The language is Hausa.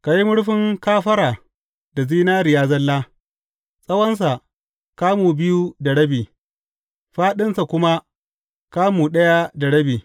Ka yi murfin kafara da zinariya zalla, tsawonsa kamu biyu da rabi, fāɗinsa kuma kamu ɗaya da rabi.